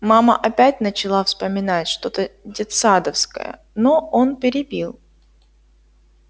мама опять начала вспоминать что-то детсадовское но он перебил